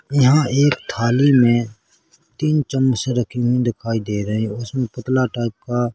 यहाँ एक थाली मे तीन चम्मच रखे हुए दिखाई दे रहे है उसमे पतला टाइप का --